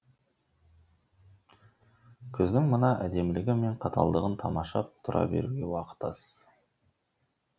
күздің мына әдемілігі мен қаталдығын тамашалап тұра беруге уақыт аз